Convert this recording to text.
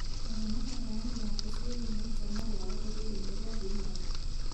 Aria na mũheani waku ciĩgiĩ maita marĩa wagĩrĩirwo nĩ gũthimwo